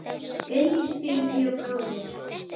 Undir því bjó bróðir